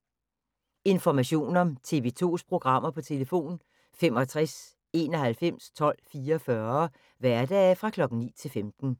Information om TV 2's programmer: 65 91 12 44, hverdage 9-15.